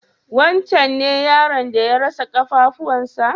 Wancen ne yaron da ya rasa ƙafafuwan sa?